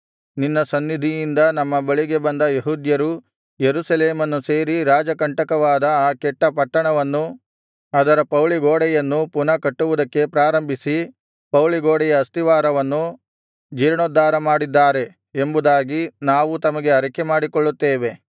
ನಿನ್ನ ಸನ್ನಿಧಿಯಿಂದ ನಮ್ಮ ಬಳಿಗೆ ಬಂದ ಯೆಹೂದ್ಯರು ಯೆರೂಸಲೇಮನ್ನು ಸೇರಿ ರಾಜಕಂಟಕವಾದ ಆ ಕೆಟ್ಟ ಪಟ್ಟಣವನ್ನೂ ಅದರ ಪೌಳಿಗೋಡೆಯನ್ನೂ ಪುನಃ ಕಟ್ಟುವುದಕ್ಕೆ ಪ್ರಾರಂಭಿಸಿ ಪೌಳಿಗೋಡೆಯ ಅಸ್ತಿವಾರವನ್ನು ಜೀರ್ಣೋದ್ಧಾರಮಾಡಿದ್ದಾರೆ ಎಂಬುದಾಗಿ ನಾವು ತಮಗೆ ಅರಿಕೆಮಾಡಿಕೊಳ್ಳುತ್ತೇವೆ